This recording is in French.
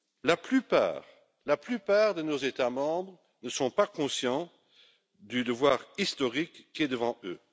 La plupart de nos États membres ne sont pas conscients du devoir historique qui est devant eux.